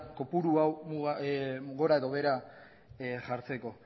kopuru hau gora edo behera jartzeko